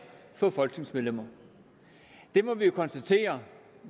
for folketingsmedlemmer vi må konstatere